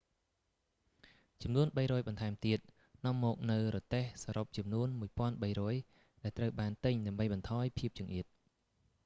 ចំនួន 300 បន្ថែមទៀតនាំមកនូវរទេះសរុបចំនួន 1,300 ដែលត្រូវបានទិញដើម្បីបន្ថយភាពចង្អៀត